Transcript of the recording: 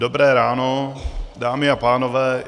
Dobré ráno, dámy a pánové.